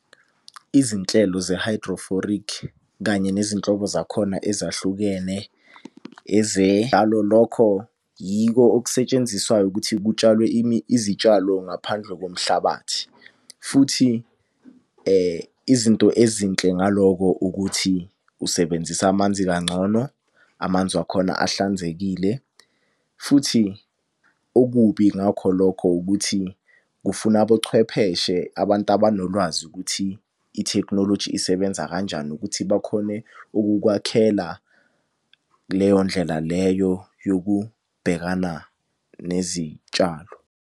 Izinhlelo ze-hydrophoric kanye nezinhlobo zakhona ezahlukene . Yiko okusetshenziswayo ukuthi kutshalwe izitshalo ngaphandle komhlabathi. Futhi izinto ezinhle ngaloko ukuthi usebenzisa amanzi kangcono, amanzi wakhona ahlanzekile, futhi okubi ngakho lokho ukuthi kufuna abochwepheshe, abantu abanolwazi ukuthi ithekhinoloji isebenza kanjani ukuthi bakhone ukukwakhela kuleyo ndlela leyo yokubhekana nezitshalo.